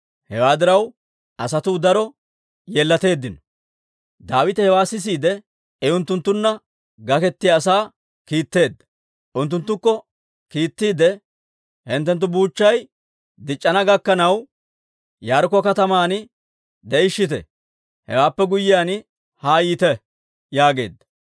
Hewaa diraw, asatuu daro yeellateeddino. Daawite hewaa sisiide, I unttunttunna gakettiyaa asaa kiitteedda; unttunttukko kiittiide, «Hinttenttu buuchchay dic'c'ana gakkanaw, Yaarikko Kataman de'ishshite; hewaappe guyyiyaan haa yiite» yaageedda.